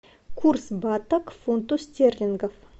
курс бата к фунту стерлингов